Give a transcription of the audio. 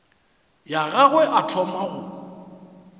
ya gagwe a thoma go